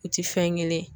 U ti fɛn kelen ye